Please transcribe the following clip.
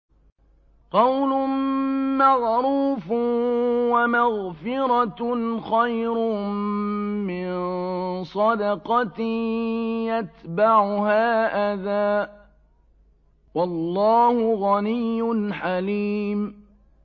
۞ قَوْلٌ مَّعْرُوفٌ وَمَغْفِرَةٌ خَيْرٌ مِّن صَدَقَةٍ يَتْبَعُهَا أَذًى ۗ وَاللَّهُ غَنِيٌّ حَلِيمٌ